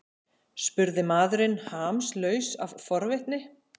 spurði maðurinn hamslaus af forvitni.